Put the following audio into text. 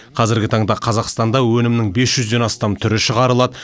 қазір таңда қазақстанда өнімнің бес жүзден астам түрі шығарылады